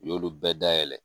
U y'olu bɛɛ dayɛlɛ